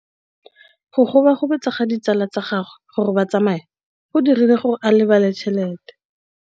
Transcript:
Go gobagobetsa ga ditsala tsa gagwe, gore ba tsamaye go dirile gore a lebale tšhelete.